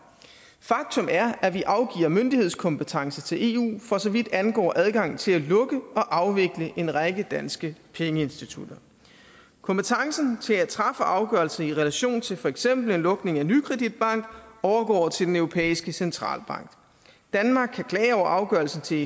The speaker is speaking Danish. faktum er at vi afgiver myndighedskompetence til eu for så vidt angår adgangen til at lukke og afvikle en række danske pengeinstitutter kompetencen til at træffe afgørelser i relation til for eksempel en lukning af nykredit bank overgår til den europæiske centralbank danmark kan klage over afgørelsen til